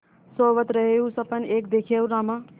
सोवत रहेउँ सपन एक देखेउँ रामा